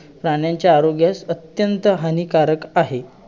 त्याच्यावरती सांगायला सात सहा मधे सहा मधे अभ्यास करावा लागतो त्याच्या मधे